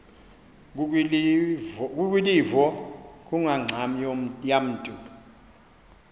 kukwilivo kungangxam yamntu